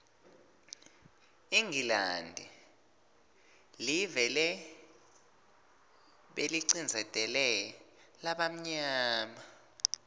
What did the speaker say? ingilandi liveleh belicindzetela labamyama